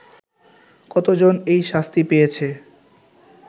কতজন এই শাস্তি পেয়েছে